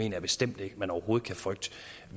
jeg bestemt ikke at man overhovedet kan frygte